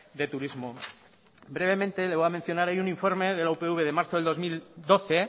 de turismo brevemente le voy a mencionar hay un informe de la upv de marzo del dos mil doce